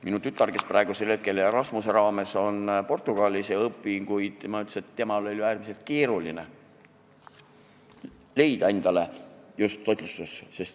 Minu tütar, kes praegu Erasmuse raames on Portugalis ja õpib, ütles, et temal oli äärmiselt keeruline leida endale just toitlustusasutuses tööd.